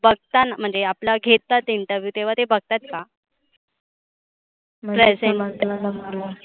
बघताना म्हणजे आपला घेतात interview तेव्हा ते बघतात का?